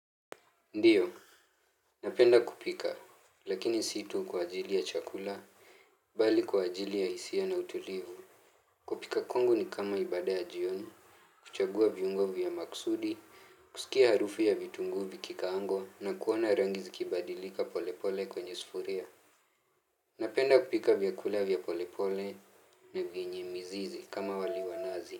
Ndiyo, napenda kupika, lakini situ kwa ajili ya chakula, bali kwa ajili ya hisia na utulivu. Kupika kwangu ni kama ibada ya jioni, kuchagua viungo vya maksudi, kusikia harufu ya vitunguu vikikaangwa na kuona rangi zikibadilika pole pole kwenye sufuria. Napenda kupika vyakula vya pole pole na vyenye mizizi kama wali wanazi.